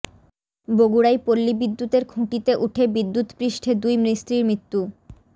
বগুড়ায় পল্লী বিদ্যুতের খুঁটিতে উঠে বিদ্যুৎস্পৃষ্টে দুই মিস্ত্রির মৃত্যু